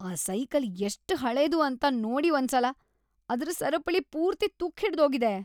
ಆ ಸೈಕಲ್ ಎಷ್ಟ್ ಹಳೇದು ಅಂತ ನೋಡಿ ಒಂದ್ಸಲ, ಅದ್ರ್ ಸರಪಳಿ ಪೂರ್ತಿ ತುಕ್ಕ್ ಹಿಡ್ದೋಗಿದೆ.